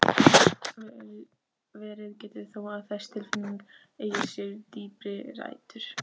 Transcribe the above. Verið getur þó að þessi tilfinning eigi sér dýpri rætur.